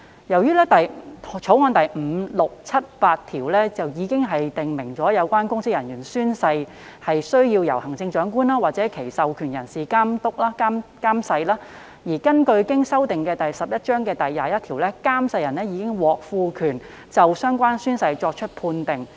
由於《條例草案》第5、6、7及8條已訂明有關的公職人員宣誓須由行政長官或其授權人士監誓，而根據經修訂的第11章第21條，監誓人已獲賦權就相關宣誓作出判定。